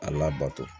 A labato